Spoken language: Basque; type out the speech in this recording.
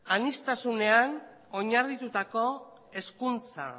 aniztasunean oinarritutako hezkuntza